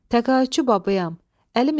Təqaüdçü babayam.